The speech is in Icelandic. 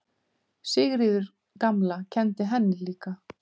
Sigríður gamla kenndi henni líka.